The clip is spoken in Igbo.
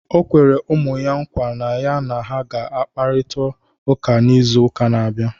O kwere ụmụ ya nkwa na ya na ha ga-akpakọrịta n'izu ụka na-abịa